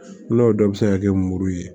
N'o dɔ bɛ se ka kɛ muru ye